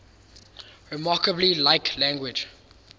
remarkably like language